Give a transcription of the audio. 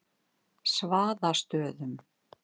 Svaðastöðum